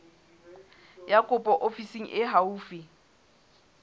ya kopo ofising e haufi